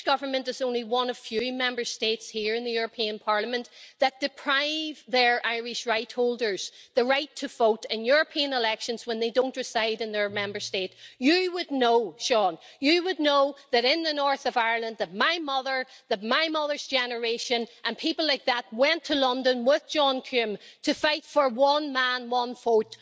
The Irish Government is only one of a few Member States here in the European Parliament that deprives its Irish rightholders of the right to vote in European elections when they don't reside in their Member State. You would know, Seán, that in the North of Ireland my mother, my mother's generation and people like that went to London with John Hume to fight for one man, one vote.